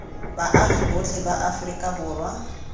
baagi botlhe ba aforika borwa